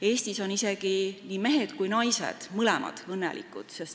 Eestis on isegi nii mehed kui ka naised, mõlemad õnnelikud.